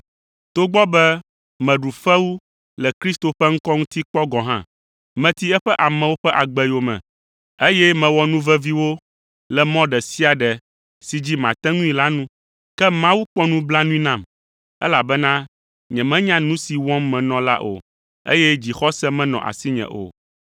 togbɔ be meɖu fewu le Kristo ƒe ŋkɔ ŋuti kpɔ gɔ̃ hã. Meti eƒe amewo ƒe agbe yome, eye mewɔ nu vevi wo le mɔ ɖe sia ɖe si dzi mate ŋui la nu. Ke Mawu kpɔ nublanui nam, elabena nyemenya nu si wɔm menɔ la o, eye dzixɔse menɔ asinye o.